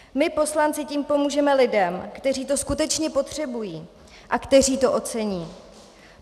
My poslanci tím pomůžeme lidem, kteří to skutečně potřebují a kteří to ocení.